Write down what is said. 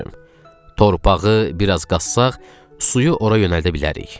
Torpağı bir az qazsaq, suyu ora yönəldə bilərik.